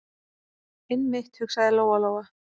Einmitt, hugsaði Lóa- Lóa.